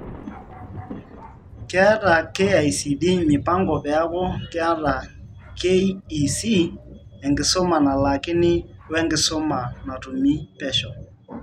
Keeta KICD mipango peaku keeta KEC enkisuma nalaakini wenkisuma natumi pesho.